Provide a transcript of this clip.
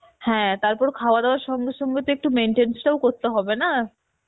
হ্যাঁ তারপর খাওয়া দাওয়া সঙ্গে সঙ্গে তো একটু maintenance টাও করতে হবে না